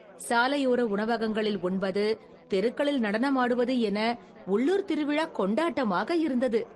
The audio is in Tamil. சாலையோர உணவகங்களில் உண்பது, தெருக்களில் நடனமாடுவது என உள்ளூர் திருவிழா கொண்டாட்டமாக இருந்தது.